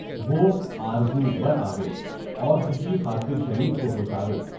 وہ آرزو برآوے، اور خوشی خاطرِ شریف کو ہو جاوے۔